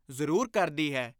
ਜ਼ਰੂਰ ਕਰਦੀ ਹੈ।